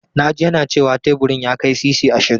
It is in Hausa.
Na ji yana cewa teburin ya kai sisi ashirin.